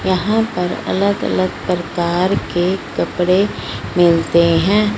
यहां पर अलग अलग प्रकार के कपड़े मिलते हैं